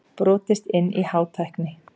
Brotist inn í Hátækni